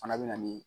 Fana bɛ na ni